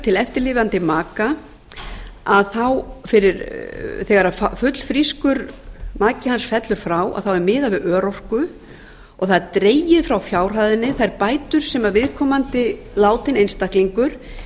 til eftirlifandi maka þegar fullfrískur maki hans fellur frá þá er miðað við örorku og það eru dregnar frá fjárhæðinni þær bætur sem viðkomandi látinn einstaklingur